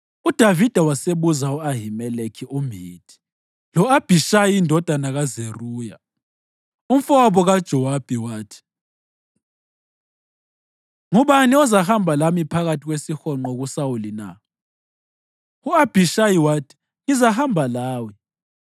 UDavida wasebuza u-Ahimeleki umHithi lo-Abhishayi indodana kaZeruya, umfowabo kaJowabi, wathi, “Ngubani ozahamba lami phakathi kwesihonqo kuSawuli na?” U-Abhishayi wathi, “Ngizahamba lawe.”